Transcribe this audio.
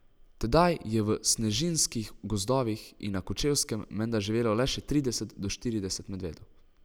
Tedaj je v snežniških gozdovih in na Kočevskem menda živelo le še trideset do štirideset medvedov.